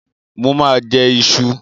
Mo ma jẹ́ ìṣù